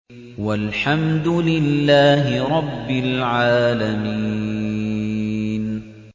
وَالْحَمْدُ لِلَّهِ رَبِّ الْعَالَمِينَ